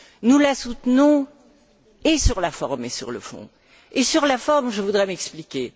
Nous la soutenons, et sur la forme, et sur le fond. Sur la forme, je voudrais m'expliquer.